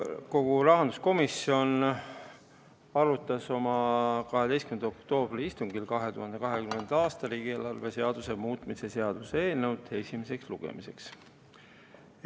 Riigikogu rahanduskomisjon arutas oma 12. oktoobri istungil 2020. aasta riigieelarve seaduse muutmise seaduse eelnõu esimesele lugemisele saatmist.